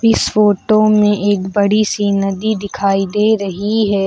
इस फोटो में एक बड़ी सी नदी दिखाई दे रही है।